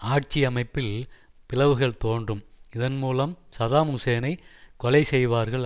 ஆட்சி அமைப்பில் பிளவுகள் தோன்றும் இதன்மூலம் சதாம் ஹூசேனை கொலை செய்வார்கள்